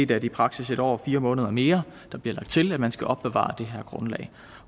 det i praksis en år og fire måneder mere der bliver lagt til at man skal opbevare det her grundlag